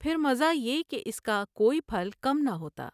پھر مزہ یہ کہ اس کا کوئی پھل کم نہ ہوتا ۔